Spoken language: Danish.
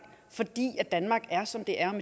fordi danmark er som det er